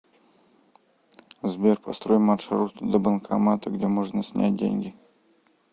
сбер построй маршрут до банкомата где можно снять деньги